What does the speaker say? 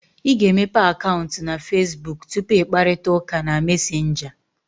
Ị ga-emepe akaụntụ na Fesbuk tupu ị kparịta ụka na Mesenga